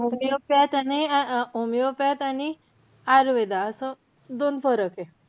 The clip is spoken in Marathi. Homeopath आणि~ homeopath आणि आयुर्वेदा असं दोन फरक आहे.